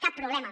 cap problema